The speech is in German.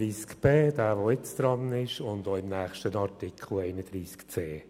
Auf der Version 9 der Anträge ist noch ein Antrag Machado auf Streichung vorhanden.